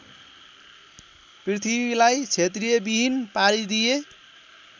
पृथ्वीलाई क्षेत्रियविहीन पारिदिए